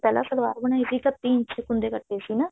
ਪਹਿਲਾਂ ਸਲਵਾਰ ਬਣਾਈ ਸੀ ਕੱਤੀ ਇੰਚ ਦੇ ਕੁੰਡੇ ਕੱਟੇ ਸੀ ਨਾ